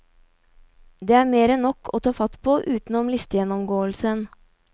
Det er mer enn nok å ta fatt på, utenom listegjennomgåelsen.